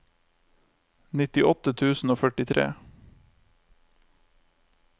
nittiåtte tusen og førtitre